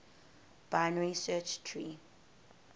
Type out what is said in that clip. binary search tree